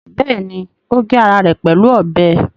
Bẹ́ẹ̀ni, ó gé ara ẹ̀ pẹ̀lú ọbẹ̀